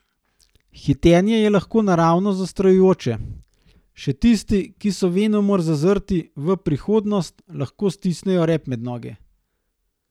Hitenje je lahko naravnost zastrašujoče, še tisti, ki so venomer zazrti v prihodnost, lahko stisnejo rep med noge.